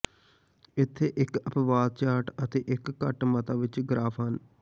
ਇੱਥੇ ਇੱਕ ਅਪਵਾਦ ਚਾਰਟ ਅਤੇ ਇੱਕ ਘੱਟ ਮਤਾ ਵਿੱਚ ਗਰਾਫ਼ ਹਨ